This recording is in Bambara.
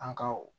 An ka o